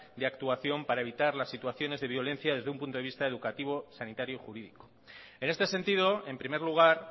de actuación para evitar las situaciones de violencia desde un punto de vista educativo sanitario y jurídico en este sentido en primer lugar